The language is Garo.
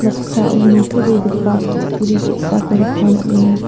noksao nitobegipa kutturi ge·sako nikna man·enga.